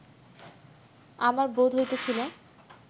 আমার বোধ হইতেছিল